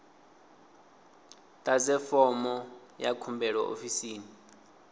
ḓadze fomo ya khumbelo ofisini